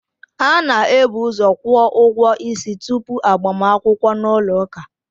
A na-ebuuzo kwuo ụgwọ isi tupu agbakwukwo n'ụlọ ụka